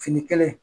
Fini kelen